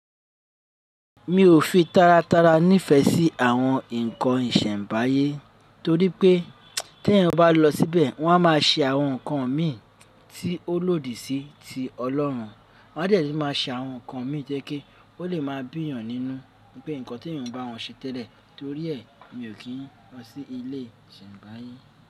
Mi ò fi tára tára nífẹ̀ẹ́ sí àwọn nnkan ìsẹ̀nbáyé torí pé tí eyan bá lọ síbẹ̀ wọ́n a má a se àwọn nǹkan mí tí ó lòdì sí ti Ọlọ́run. Wọ́n a de tun má a se àwọn nǹkan mí to je pe ó lè máa bíyàn nínú pé nǹkan tí èeyan o n bá wọn ṣe tẹ́lẹ̀. Torí ẹ mi ò kí n lọ sí ilé ìsẹ̀mbáyé.